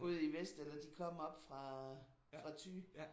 ude i vest eller om de kom oppe fra Thy